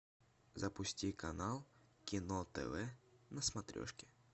запусти канал кино тв на смотрешке